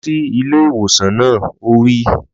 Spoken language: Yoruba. Lọ sí ilé ìwòsàn náà! Ó wí.